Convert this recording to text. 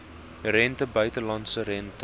rente buitelandse rente